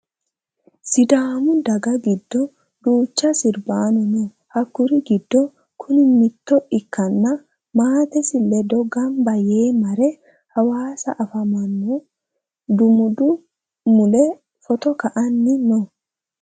Sidaamu daga giddo duucha sirbaano noo. Hakkuri giddo kuni mitto ikkanna maatesi ledo gamba yee mare hawasa afamanno dumudi mule footo ka"anni no.